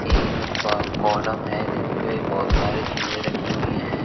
तीन प कॉलम है जिनपे बहुत सारी चीजें रखी हुई हैं।